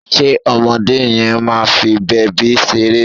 Ṣe ọmọdé yẹn máa fi bèbí ṣeré?